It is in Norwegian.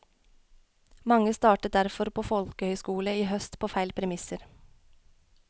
Mange startet derfor på folkehøyskole i høst på feil premisser.